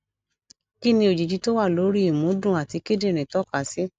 kí ni òjìji tó wà lórí ìmúdùn àti kidinrin toka si